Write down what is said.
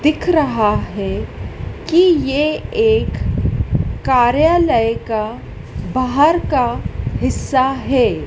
दिख रहा है कि ये एक कार्यालय का बाहर का हिस्सा है।